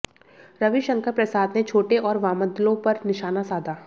रविशंकर प्रसाद ने छोटे और वामदलों पर निशाना साधा